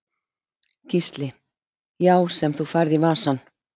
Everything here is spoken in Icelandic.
Gísli: Já sem þú færð í vasann?